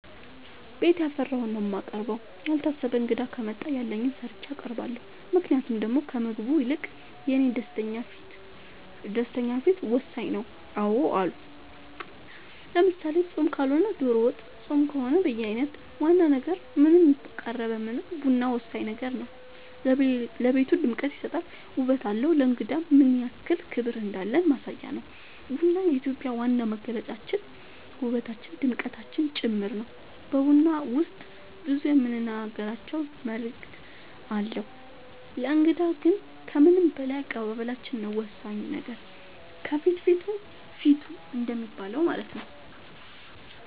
ቤት ያፈራውን ነው የማቀርበው ያልታሰበ እንግዳ ከመጣ ያለኝን ሰርቼ አቀርባለሁ ምክንያቱም ደሞ ከምግቡ ይልቅ የኔ ደስተኛ ፊት ወሳኝ ነው አዎ አሉ ለምሳሌ ፆም ካልሆነ ዶሮ ወጥ ፆም ከሆነ በየአይነት ዋና ነገር ምንም ቀረበ ምንም ቡና ወሳኝ ነገር ነው ለቤቱ ድምቀት ይሰጣል ውበት አለው ለእንግዳም ምንያክል ክብር እንዳለን ማሳያ ነው ቡና የኢትዮጵያ ዋና መገለጫችን ውበታችን ድምቀታችን ጭምር ነው በቡና ውስጥ ብዙ የምንናገራቸው መልዕክት አለው ለእንግዳ ግን ከምንም በላይ አቀባበላችን ነው ወሳኙ ነገር ከፍትፍቱ ፊቱ እንደሚባለው ማለት ነው